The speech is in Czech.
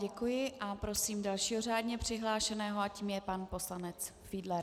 Děkuji a prosím dalšího řádně přihlášeného a tím je pan poslanec Fiedler.